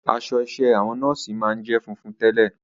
Aṣọ iṣẹ́ àwọn nọ́ọ̀sì máa ń jẹ́ funfun tẹ́lẹ̀.